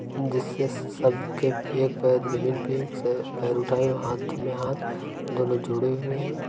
जिससे सबके एक पैर जमीन पे एक से पैर उठा हुआ हाथ में हाथ दोनों जुड़े हुए हैं।